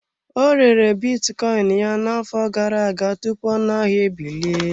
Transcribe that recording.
Ọ rere bitcoin ya n'afọ gara aga tupu ọnụ ahịa ebilie.